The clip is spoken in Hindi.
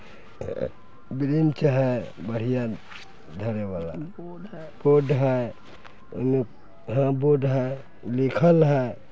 ब्रिंच है बढ़िया धरे वाला बोर्ड है बोर्ड है लिखल है।